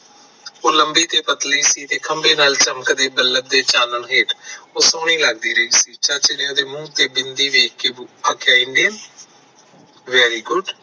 ਲੰਬੀ ਤੇ ਪਤਲੀ ਸੀ ਤੇ ਖੰਭੇ ਨਾਲ ਚਮਕਦੀ ਤੇ ਚਾਨਣ ਹੇਠ ਸੋਹਣੀ ਲੱਗਦੀ ਰਹਿੰਦੀ ਸੀ ਚਾਚੇ ਨੇ ਮੂੰਹ ਤੇ ਬਿੰਦੀ ਵੇਖ ਕੇ ਆਖਿਆ india very good